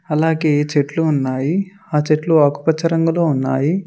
అలాగే చెట్లు ఉన్నాయి ఆ చెట్లు ఆకుపచ్చ రంగులో ఉన్నాయి.